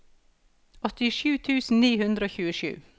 åttisju tusen ni hundre og tjuesju